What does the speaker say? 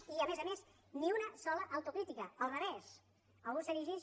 i a més a més ni una sola autocrítica al revés algú s’erigeix